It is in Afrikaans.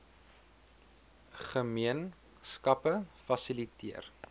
gemeen skappe fasiliteer